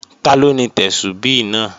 Taló ni Tẹ́súbí náà?